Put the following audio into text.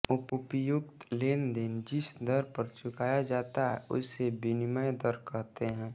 उपर्युक्त लेन देन जिस दर पर चुकाया जाता है उसे विनिमय दर कहते हैं